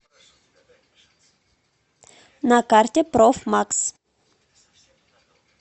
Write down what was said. на карте профмакс